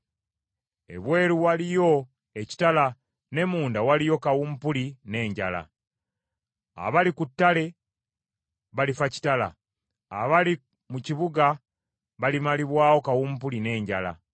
Ebweru waliyo ekitala ne munda waliyo kawumpuli n’enjala. Abali ku ttale balifa kitala, abali mu kibuga balimalibwawo kawumpuli n’enjala.